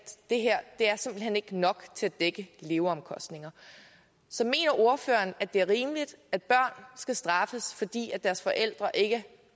det her simpelt hen ikke er nok til at dække leveomkostninger så mener ordføreren at det er rimeligt at børn skal straffes fordi deres forældre ikke